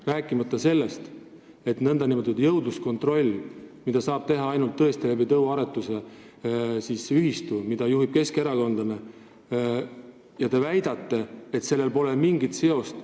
Rääkimata sellest, et nn jõudluskontrolli saab teha tõesti ainult tõuaretuse kaudu ja tõuaretusühistut juhib keskerakondlane, aga teie väidate, et siin pole mingit seost.